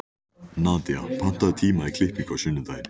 Nadía, pantaðu tíma í klippingu á sunnudaginn.